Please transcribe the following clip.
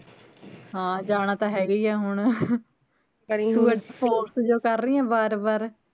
ਹਾਂ ਜਾਣਾ ਤਾਂ ਹੈਗਾ ਈ ਐ ਹੁਣ ਤੂੰ force ਜੋ ਕਰ ਰਹੀ ਐ ਵਾਰ ਵਾਰ